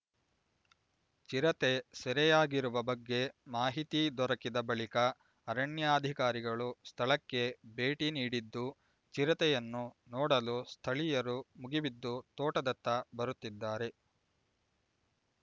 ಚಿರತೆ ಸೆರೆಯಾಗಿರುವ ಬಗ್ಗೆ ಮಾಹಿತಿ ದೊರಕಿದ ಬಳಿಕ ಅರಣ್ಯಾಧಿಕಾರಿಗಳು ಸ್ಥಳಕ್ಕೆ ಭೇಟಿ ನೀಡಿದ್ದು ಚಿರತೆಯನ್ನು ನೋಡಲು ಸ್ಥಳೀಯರು ಮುಗಿಬಿದ್ದು ತೋಟದತ್ತ ಬರುತ್ತಿದ್ದಾರೆ